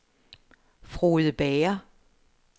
Frode Bager